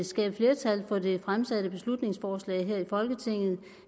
skabe flertal for det fremsatte beslutningsforslag her i folketinget